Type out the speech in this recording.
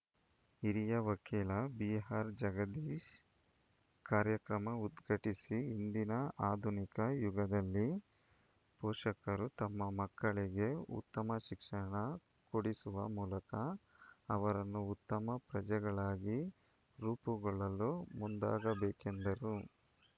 ಹಿರಿಯ ವಕೀಲ ಬಿಆರ್‌ ಜಗದೀಶ್‌ ಕಾರ್ಯಕ್ರಮ ಉದ್ಘಾಟಿಸಿ ಇಂದಿನ ಆಧುನಿಕ ಯುಗದಲ್ಲಿ ಪೋಷಕರು ತಮ್ಮ ಮಕ್ಕಳಿಗೆ ಉತ್ತಮ ಶಿಕ್ಷಣ ಕೊಡಿಸುವ ಮೂಲಕ ಅವರನ್ನು ಉತ್ತಮ ಪ್ರಜೆಗಳಾಗಿ ರೂಪುಗೊಳ್ಳಲು ಮುಂದಾಗಬೇಕೆಂದರು